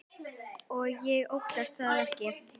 Og ég óttast það ekki.